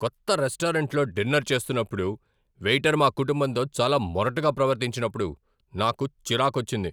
కొత్త రెస్టారెంట్లో డిన్నర్ చేస్తున్నప్పుడు వెయిటర్ మా కుటుంబంతో చాలా మొరటుగా ప్రవర్తించినప్పుడు నాకు చిరాకొచ్చింది.